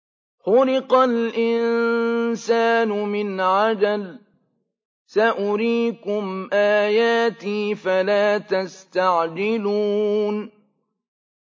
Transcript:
خُلِقَ الْإِنسَانُ مِنْ عَجَلٍ ۚ سَأُرِيكُمْ آيَاتِي فَلَا تَسْتَعْجِلُونِ